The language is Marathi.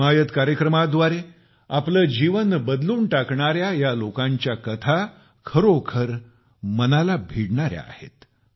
हिमायत कार्यक्रमाद्वारे आपले जीवन बदलून टाकणाऱ्या या लोकांच्या कथा खरोखर माझ्या मनाला भिडणाऱ्या आहेत